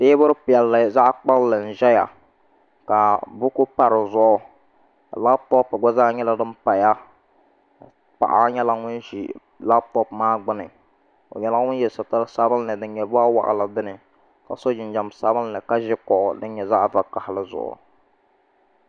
Teebuli piɛlli zaɣ kpulli n ʒɛya ka buku pa di zuɣu labtop gba zaa nyɛla din paya paɣa nyɛla ŋun ʒi labtop maa gbuni o nyɛla ŋun yɛ sitiri sabinli din nyɛ boɣa waɣala dini ka so jinjɛm sabinli ka ʒo kuɣu din nyɛ zaɣ vakaɣali zuɣu